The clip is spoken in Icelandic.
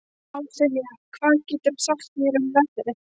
Ásynja, hvað geturðu sagt mér um veðrið?